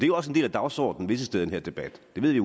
jo også en del af dagsordenen visse steder i den her debat det